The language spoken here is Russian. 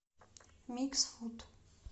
микс фуд